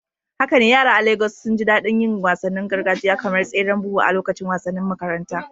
Haka ne, yara a Legas sun ji daɗin yin wasannin gargajiya kamar tseren buhu a lokacin wasannin makaranta.